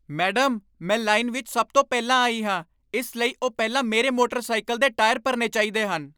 Madam, ਮੈਂ line ਵਿੱਚ ਸਭ ਤੋਂ ਪਹਿਲਾਂ ਆਈ ਹਾਂ, ਇਸ ਲਈ ਉਹ ਪਹਿਲਾਂ ਮੇਰੇ ਮੋੇਟਰ ਸਾਈਕਲ ਦੇ ਟਾਇਰ ਭਰਨੇ ਚਾਹੀਦੇ ਹਨ।